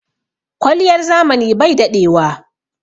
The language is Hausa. Kwaliyar zamani bai daɗewa.